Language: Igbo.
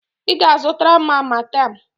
Ị ga-azụtara m Amatem!